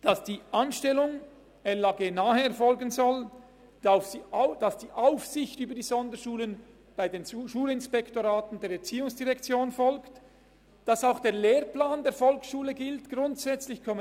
Die Anstellung soll LAG-nah erfolgen, die Aufsicht über die Sonderschulen soll durch die Schulinspektorate der ERZ erfolgen, auch der Lehrplan der Volksschule soll grundsätzlich gelten.